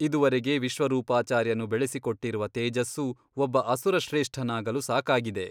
ಇದುವರೆಗೆ ವಿಶ್ವರೂಪಾಚಾರ್ಯನು ಬೆಳೆಸಿಕೊಟ್ಟಿರುವ ತೇಜಸ್ಸು ಒಬ್ಬ ಅಸುರಶ್ರೇಷ್ಠನಾಗಲು ಸಾಕಾಗಿದೆ.